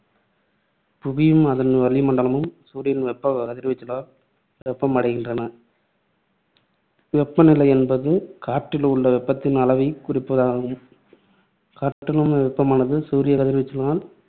புவியும் அதன் வளி மண்டலமும் சூரியனின் வெப்ப கதிர்வீசலால் வெப்பம் அடைகின்றன. வெப்ப நிலை என்பது காற்றில் உள்ள வெப்பத்தின் அளவை குறிப்பதாகும். காற்றிலுள்ள வெப்பமானது சூரிய கதிர்வீசலால்